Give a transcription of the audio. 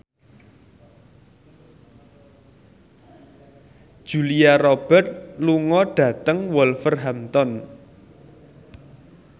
Julia Robert lunga dhateng Wolverhampton